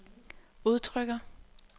udtrykker